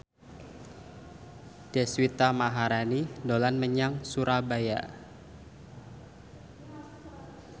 Deswita Maharani dolan menyang Surabaya